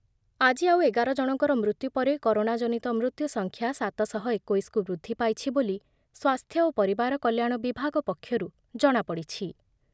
ଆଜି ଆଉ ଏଗାରଜଣଙ୍କର ମୃତ୍ୟୁ ପରେ କରୋନାଜନିତ ମୃତ୍ୟୁସଂଖ୍ୟା ସାତ ଶହ ଏକୋଇଶକୁ ବୃଦ୍ଧି ପାଇଛି ବୋଲି ସ୍ୱାସ୍ଥ୍ୟ ଓ ପରିବାର କଲ୍ୟାଣ ବିଭାଗ ପକ୍ଷରୁ ଜଣାପଡିଛି ।